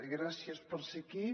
gràcies per ser aquí